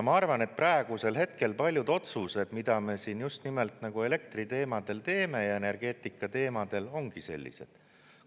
Ma arvan, et praegusel hetkel paljud otsused, mida me siin just nimelt elektriteemadel teeme ja energeetikateemadel, ongi sellised.